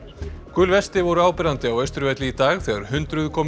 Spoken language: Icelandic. gul vesti voru áberandi á Austurvelli í dag þegar hundruð komu